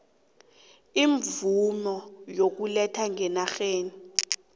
iimvumo zokuletha ngenarheni